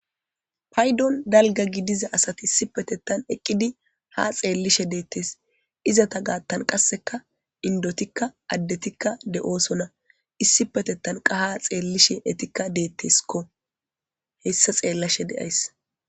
paydon dalga gidiza asati issipetettan eqqidi ha xeellishe deettes. Izata gaattan qasseka indotikka addetikka de'oosona issipetettan qa ha xeellishe etikka deetteskko. Hessa xeellashe de'ays.